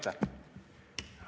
Aitäh!